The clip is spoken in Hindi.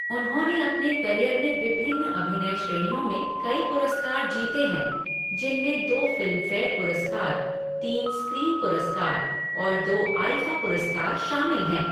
उन्होंने अपने करियर में विभिन्न अभिनय श्रेणियों में कई पुरस्कार जीते हैं जिनमें दो फ़िल्मफ़ेयर पुरस्कार, तीन स्क्रीन पुरस्कार और दो आईफ़ा पुरस्कार शामिल हैं।